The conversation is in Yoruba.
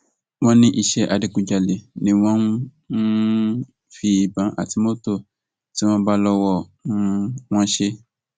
wọn ní iṣẹ adigunjalè ni wọn ń um fi ìbọn àti mọtò tí wọn bá lọwọ um wọn ṣe